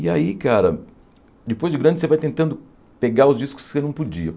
E aí, cara, depois de grande você vai tentando pegar os discos que você não podia.